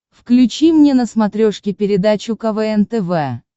включи мне на смотрешке передачу квн тв